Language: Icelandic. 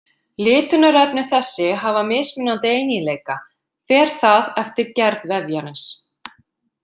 Litunarefni þessi hafa mismunandi eiginleika, fer það eftir gerð vefjarins.